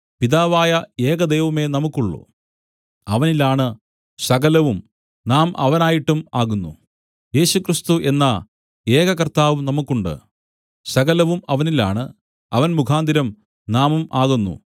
പിതാവായ ഏക ദൈവമേ നമുക്കുള്ളു അവനിലാണ് സകലവും നാം അവനായിട്ടും ആകുന്നു യേശുക്രിസ്തു എന്ന ഏക കർത്താവും നമുക്ക് ഉണ്ട് സകലവും അവനിലാണ് അവൻ മുഖാന്തരം നാമും ആകുന്നു